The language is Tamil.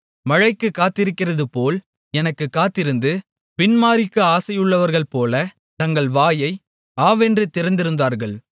மழைக்குக் காத்திருக்கிறதுபோல் எனக்குக் காத்திருந்து பின் மாரிக்கு ஆசையுள்ளவர்கள்போல தங்கள் வாயை ஆவென்று திறந்திருந்தார்கள்